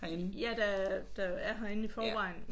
Ja der der er herinde i forvejen